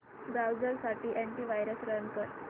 browser साठी antivirus run कर